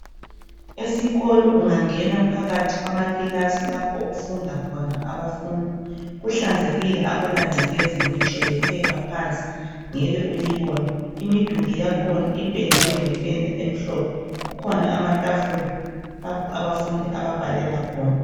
Esikolo ungangena phakathi kwamakilasi lapho okufunda khona abafundi kuhlanzekile akula ngcekeza ngitsho lephepha phansi ngeke ulibone imiduli yakhona ipendiwe ngependa emhlophe kukhona amatafula lapho abafundi ababhalela khona.